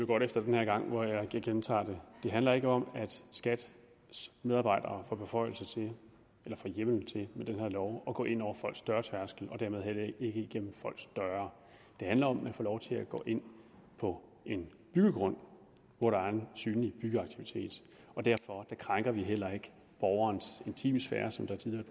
godt efter den her gang hvor jeg gentager det det handler ikke om at skats medarbejdere får beføjelser til eller får hjemmel til med den her lov at gå ind over folks dørtærskel og dermed heller ikke igennem folks døre det handler om at man får lov til at gå ind på en byggegrund hvor der er en synlig byggeaktivitet og derfor krænker vi heller ikke borgerens intimsfære som der tidligere